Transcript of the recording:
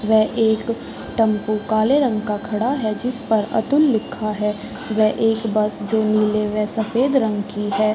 वे एक टेंपू काले रंग का खड़ा है जिसपे अतुल लिखा है वे एक बस नील व सफेद रंग की है।